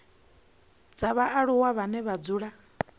dza vhaaluwa vhane vha dzula